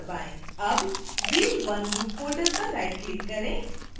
अब wheel1 group folder पर right click करें